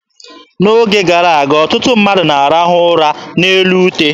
N'oge gara aga, ọtụtụ ndị mmadụ na-arahụ ụra n'elu ute.